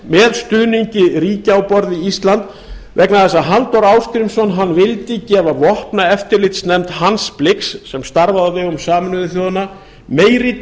með stuðningi ríkja á borð við ísland vegna þess að halldór ásgrímsson vildi gefa vopnaeftirlitsnefnd hans blix sem starfaði á vegum sameinuðu þjóðanna meiri